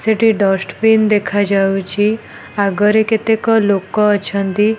ସେଠି ଡଷ୍ଟବିନ୍ ଦେଖାଯାଉଛି ଆଗରେ କେତେକ ଲୋକ ଅଛନ୍ତି।